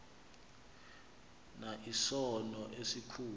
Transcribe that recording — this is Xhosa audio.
na isono esikhulu